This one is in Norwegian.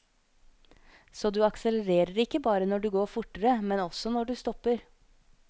Så du aksellerer ikke bare når du går fortere, men også når du stopper.